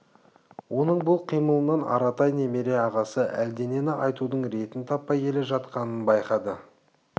оның бұл қимылынан аратай немере ағасы әлденені айтудың ретін таппай келе жатқанын байқады